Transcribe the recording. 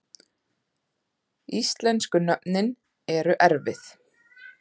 Íslensku nöfnin erfið